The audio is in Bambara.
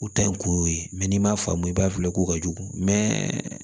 U ta in kun ye n'i m'a faamu i b'a filɛ ko ka jugu mɛ